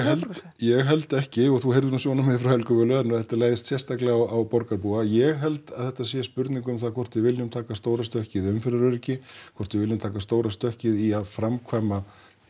ég held ekki og þú heyrðir nú svörin hennar Helgu Völu að þetta leggst sérstaklega á borgarbúa ég held að þetta sé spurning um það hvort við viljum taka stóra stökkið í umferðaröryggi hvort við viljum taka stóra stökkið í að framkvæma